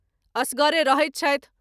एसगरे रहैत छथि।